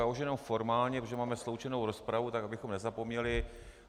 Já už jen formálně, protože máme sloučenou rozpravu, tak abychom nezapomněli.